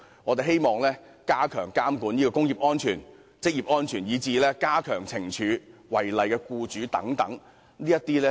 我們希望加強監管工業及職業安全，以至加強懲處違例僱主等。